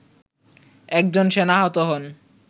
একজন সেনা আহত হন